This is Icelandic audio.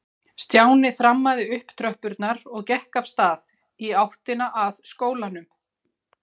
Stjáni þrammaði upp tröppurnar og gekk af stað í áttina að skólanum.